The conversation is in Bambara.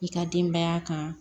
I ka denbaya kan